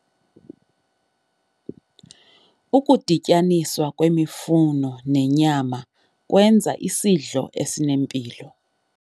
Ukudityaniswa kwemifuno nenyama kwenza isidlo esinempilo.